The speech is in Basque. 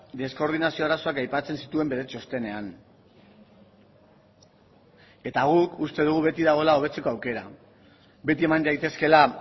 deskoordinazio arazoak aipatzen zituen bere txostenean eta guk uste dugu beti dagoela hobetzeko aukera beti eman daitezkeela